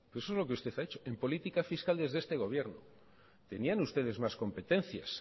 eso es lo que usted ha hecho en política fiscal desde este gobierno tenían ustedes más competencias